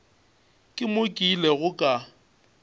ke mo ke ilego ka